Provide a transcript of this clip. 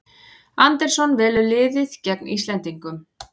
Andersson velur liðið gegn Íslendingum